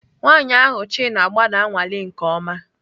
Nwanyị ahụ Chin agba na-anwale nke ọma